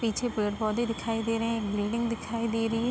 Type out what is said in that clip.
पीछे पेड़ पौधे दिखाई दे रहे हैं। एक बिल्डिंग दिखाई दे रही है।